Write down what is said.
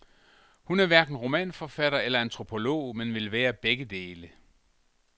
Hun er hverken romanforfatter eller antropolog, men vil være begge dele.